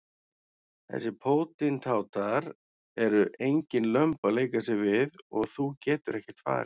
Þessir pótintátar eru engin lömb að leika sér við og þú getur ekkert farið.